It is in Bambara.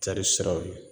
Cari siraw ye